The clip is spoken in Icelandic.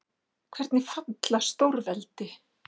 Hvernig falla stórveldi?